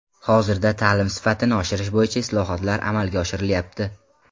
Hozirda ta’lim sifatini oshirish bo‘yicha islohotlar amalga oshirilyapti.